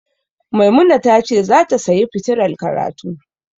Maimuna ta ce zata sayi fitilar karatu.